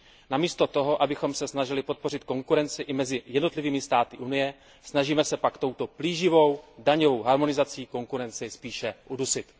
Namísto toho, abychom se snažili podpořit konkurenci i mezi jednotlivými státy Unie, snažíme se pak touto plíživou daňovou harmonizací konkurenci spíše udusit.